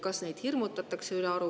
Kas neid hirmutatakse ülearu?